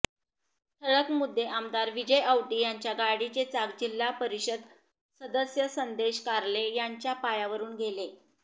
ठळक मुद्देआमदार विजय औटी यांच्या गाडीचे चाक जिल्हा परिषद सदस्य संदेश कार्ले यांच्या पायावरुन गेले